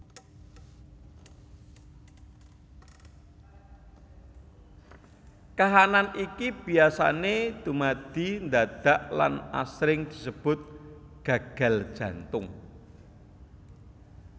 Kaanan iki biasané dumadi ndadak lan asring disebut gagal jantung